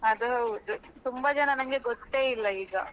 ಅದು ಹೌದು ತುಂಬಾ ಜನ ನಂಗೆ ಗೊತ್ತೇ ಇಲ್ಲ ಈಗ.